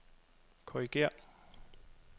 korrigér